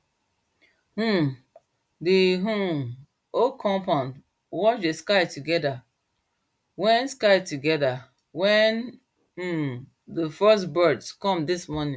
um the um whole compound watch dey sky together wen sky together wen um dey first birds come dis morning